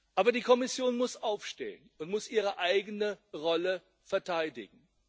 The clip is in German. Aber die Kommission muss aufstehen und ihre eigene Rolle verteidigen.